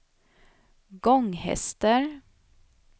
Gånghester